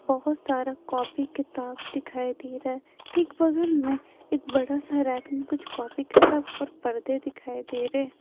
बहुत सारा कॉपी किताब दिखाई दे रहा है ठीक बगल में एक बड़ा सा रैक में कुछ कॉपी किताब और पर्दे दिखाई दे रहे हैं।